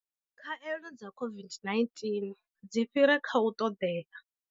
Khaelo dza COVID-19 dzi fhira kha u ṱoḓea.